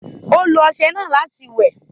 Ó lo ọṣẹ náà láti wẹ̀